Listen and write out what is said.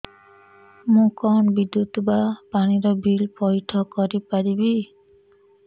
ମୁ କଣ ବିଦ୍ୟୁତ ବା ପାଣି ର ବିଲ ପଇଠ କରି ପାରିବି